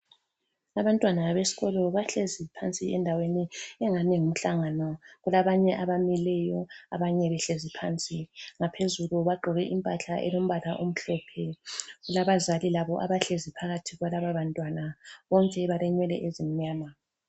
Abantwana besikolo bahlezi phansi endaweni engani ngumhlangano, kulabanye abamileyo abanye behlezi phansi. Ngaphezulu bagqoke impahla elombala omhlophe, kulabazali labo abahlezi phakathi kwalabo bantwana bonke balenwele ezimnyama.